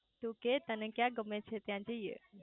તું કે તને ક્યાં ગમે છે ત્યાં જઇયે